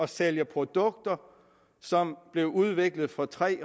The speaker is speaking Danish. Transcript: sælger produkter som blev udviklet for tre